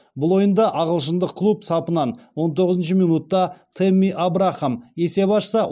бұл ойында ағылшындық клуб сапынан он тоғызыншы минутта тэмми абрахам есеп ашса